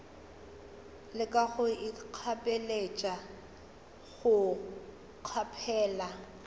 leka go ikgapeletša go kgaphela